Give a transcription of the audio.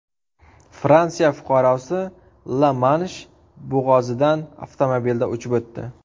Fransiya fuqarosi La-Mansh bo‘g‘ozidan avtomobilda uchib o‘tdi.